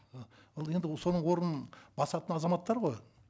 ы ал енді соның орнын басатын азаматтар ғой